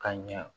Ka ɲa